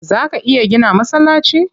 Zaa ka iya gina masallaci?